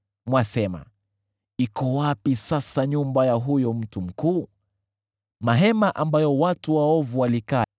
Mwasema, ‘Iko wapi sasa nyumba ya huyo mtu mkuu, mahema ambayo watu waovu walikaa?’